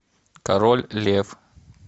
король лев